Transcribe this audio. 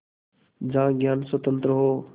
जहाँ ज्ञान स्वतन्त्र हो